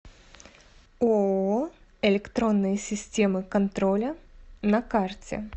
ооо электронные системы контроля на карте